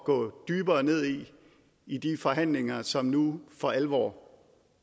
gå dybere ned i i de forhandlinger som nu for alvor